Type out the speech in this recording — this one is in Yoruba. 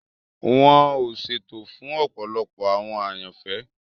Wọn ọ ṣètò fun ọpọlọpọ awọn àyànfẹ.